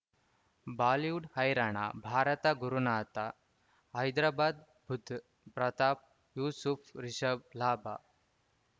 Bollywood ಹೈರಾಣ ಭಾರತ ಗುರುನಾಥ ಹೈದರಾಬಾದ್ ಬುಧ್ ಪ್ರತಾಪ್ ಯೂಸುಫ್ ರಿಷಬ್ ಲಾಭ